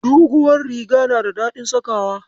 Duguwar riga na da daɗin sakawa.